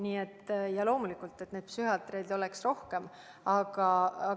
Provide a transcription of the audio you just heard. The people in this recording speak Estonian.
Nii et loomulikult neid psühhiaatreid on rohkem vaja.